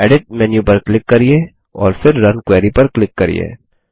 edit menu पर click करिये और फिर रुन क्वेरी पर क्लिक करिये